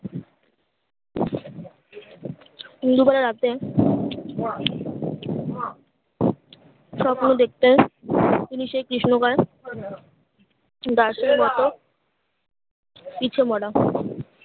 Indo বেলা রাতে স্বপ্ন দেখতো তিনি সেই কৃষ্ণ গায়ে দাসের মতো পিচুবড়া